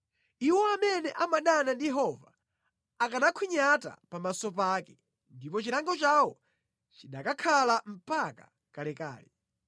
Iwo amene amadana ndi Yehova akanakhwinyata pamaso pake, ndipo chilango chawo chinakakhala mpaka kalekale.